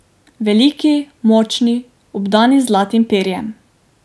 Veliki, močni, obdani z zlatim perjem.